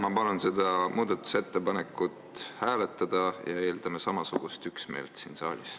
Ma palun seda muudatusettepanekut hääletada ja eeldame samasugust üksmeelt siin saalis.